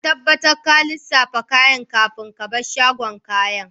Ka tabbatar ka lissafa kayan kafin ka bar shagon kayan.